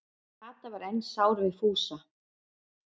Kata var enn sár við Fúsa.